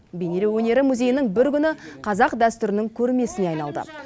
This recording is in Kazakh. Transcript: бейнелеу өнері музейінің бір күні қазақ дәстүрінің көрмесіне айналды